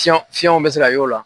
Fiyɔn fiyɔnw bɛ se ka y'o la.